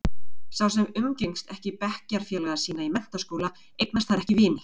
Sá sem umgengst ekki bekkjarfélaga sína í menntaskóla, eignast þar ekki vini.